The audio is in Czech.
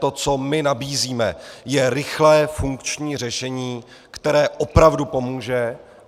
To, co my nabízíme, je rychlé funkční řešení, které opravdu pomůže.